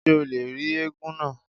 Ṣé o lè rí éégún náà?